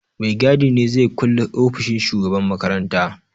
Mai gadi ne zai kulle ofishin shugaban makaranta.